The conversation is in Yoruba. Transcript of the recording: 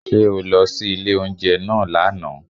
Ṣé o lọ sí ilé oúnjẹ náà lówù?